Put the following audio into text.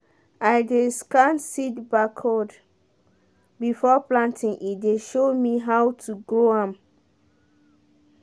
i dey scan seed barcode before planting e dey show me how to grow am.